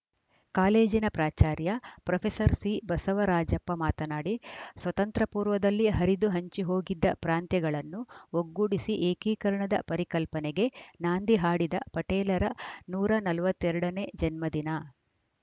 ಕಾಲೇಜಿನ ಪ್ರಾಚಾರ್ಯ ಪ್ರೊಫೆಸರ್ ಸಿಬಸವರಾಜಪ್ಪ ಮಾತನಾಡಿ ಸ್ವತಂತ್ರ ಪೂರ್ವದಲ್ಲಿ ಹರಿದು ಹಂಚಿಹೋಗಿದ್ದ ಪ್ರಾಂತ್ಯಗಳನ್ನು ಒಗ್ಗೂಡಿಸಿ ಏಕೀಕರಣದ ಪರಿಕಲ್ಪನೆಗೆ ನಾಂದಿ ಹಾಡಿದ ಪಟೇಲರ ನೂರ ನಲವತ್ತ್ ಎರಡ ನೇ ಜನ್ಮದಿನ